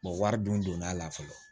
wari dun donna a la fɔlɔ